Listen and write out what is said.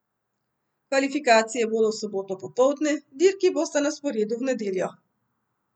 Kvalifikacije bodo v soboto popoldne, dirki bosta na sporedu v nedeljo.